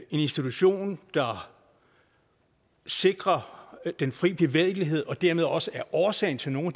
institution der sikrer den fri bevægelighed og dermed også er årsagen til nogle